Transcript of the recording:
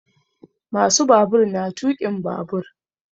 Ma su babur na tuƙin babur